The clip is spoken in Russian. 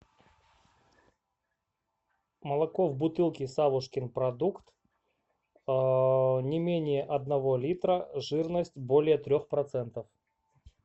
молоко в бутылке савушкин продукт не менее одного литра жирность более трех процентов